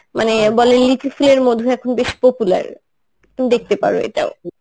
মানে বলে লিচু ফুলের মধু এখন বেশ popular তুমি দেখতে পারো এটাও.